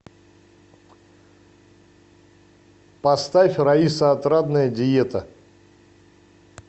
поставь раиса отрадная диета